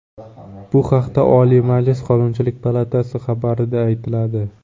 Bu haqda Oliy Majlis Qonunchilik palatasi xabari da aytiladi.